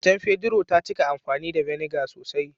Matan Pedro ta cika amfani da "vinegar " sosai.